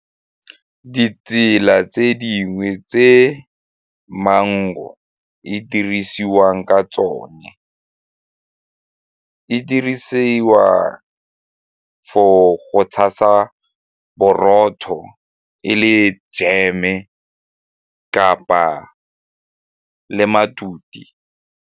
Ditsela tse dingwe tse mango e dirisiwang ka tsone e dirisiwa for go tshasa borotho, e le jeme kapa le matute.